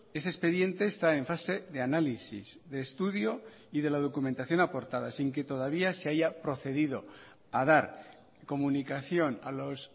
ese expediente está en fase de análisis de estudio y de la documentación aportada sin que todavía se haya procedido a dar comunicación a los